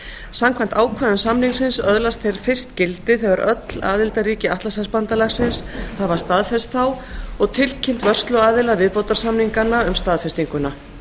samkvæmt ákvæðum samninganna öðlast þeir fyrst gildi þegar öll aðildarríki atlantshafsbandalagsins hafa staðfest þá og tilkynnt vörsluaðila viðbótarsamninganna um staðfestinguna